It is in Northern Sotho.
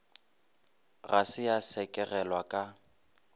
ga se ya sekegelwa ka